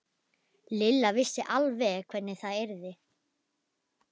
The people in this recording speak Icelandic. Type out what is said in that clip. Lilla vissi alveg hvernig það yrði.